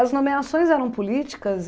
As nomeações eram políticas?